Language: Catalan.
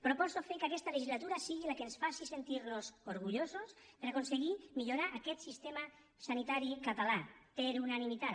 proposo fer que aquesta legislatura sigui la que ens faci sentir nos orgullosos per aconseguir millorar aquest sistema sanitari català per unanimitat